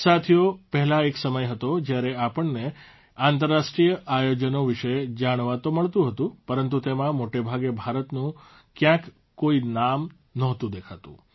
સાથીઓ પહેલાં એક સમય હતો જયારે આપણને આંતરરાષ્ટ્રીય આયોજનો વિશે જાણવા તો મળતું હતું પરંતુ તેમાં મોટાભાગે ભારતનું કયાંક કોઇ નામ નહોતું દેખાતું